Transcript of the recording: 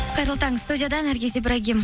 қайырлы таң студияда наргиз ибрагим